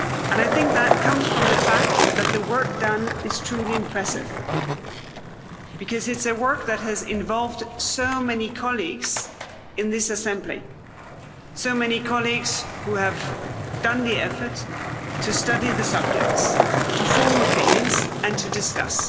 I think that comes from the fact that the work done is truly impressive, because it's work that has involved so many colleagues in this assembly, so many colleagues who have done the effort to study the subjects, to form opinions and to discuss.